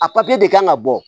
A de kan ka bɔ